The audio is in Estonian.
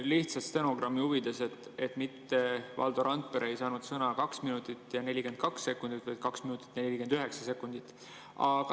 Lihtsalt stenogrammi huvides: Valdo Randpere ei saanud sõna 2 minutit ja 42 sekundit, vaid 2 minutit ja 49 sekundit.